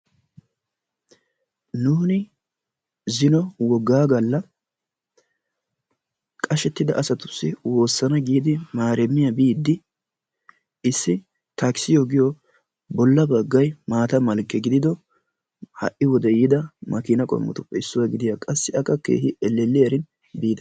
nuuni zino wogaa gala qashetida asatussi woosana giidi maaramiya biidi issi takissiyo giyo ola bagay maata mala giodiddo ha'i wodee yiida makiina qommotuppe issuwa gidiyaara qassi akka keehi elelliyarin biida.